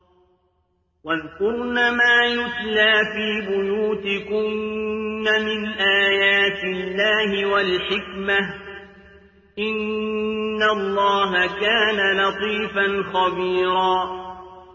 وَاذْكُرْنَ مَا يُتْلَىٰ فِي بُيُوتِكُنَّ مِنْ آيَاتِ اللَّهِ وَالْحِكْمَةِ ۚ إِنَّ اللَّهَ كَانَ لَطِيفًا خَبِيرًا